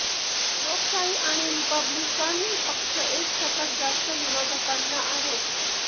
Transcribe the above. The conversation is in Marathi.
लोकशाही आणि रिपब्लिकन पक्ष एक शतक जास्त विरोधकांना आहेत